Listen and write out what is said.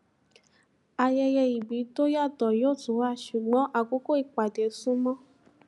ayẹyẹ ìbí tó yàtọ yó tú wá ṣùgbọn àkókò ìpàdé sunmọ